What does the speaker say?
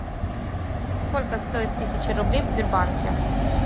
сколько стоит тысяча рублей в сбербанке